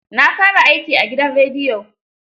Na fara aiki a gidan rediyo.